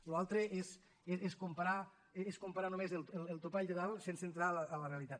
allò altre és comparar només el topall de dalt sense entrar en la realitat